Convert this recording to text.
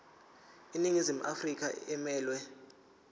iningizimu afrika emelwe